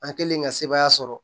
An kɛlen ka sebaaya sɔrɔ